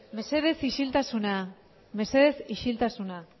mesedez isiltasuna mesedez isiltasuna